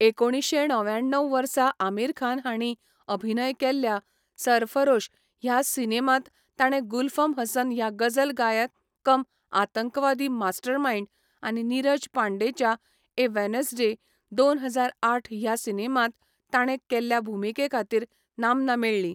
एकोणिशें णव्याण्णव वर्सा आमिर खान हांणी अभिनय केल्ल्या 'सरफारोश' ह्या सिनेमांत ताणें गुल्फम हसन ह्या गझल गायक कम आतंकवादी मास्टरमाइंड आनी नीरज पांडेच्या 'ए वेनसडे' दोन हजार आठ ह्या सिनेमांत ताणें केल्ल्या भुमिके खातीर नामना मेळ्ळी.